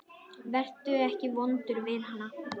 Vertu ekki vondur við hana.